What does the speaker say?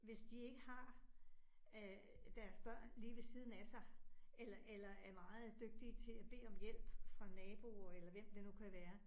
Hvis de ikke har øh deres børn lige ved siden af sig, eller eller er meget dygtige til at bede om hjælp fra nabo eller hvem det nu kan være